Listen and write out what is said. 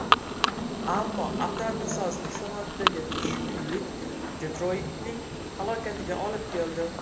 Ammo avtomobilsozlik sanoatidagi tushkunlik Detroytning halokatiga olib keldi.